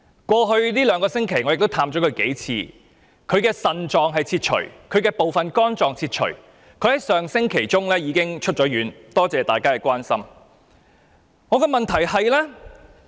過去兩星期，我曾多次探望他，他的腎臟和部分肝臟被切除，但他上星期已經出院，多謝大家關心。